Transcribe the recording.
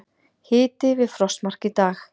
Hiti við frostmark í dag